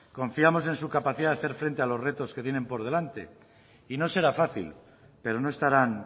confiamos en su capacidad de hacer frente a los retos que tienen por delante y no será fácil pero no estarán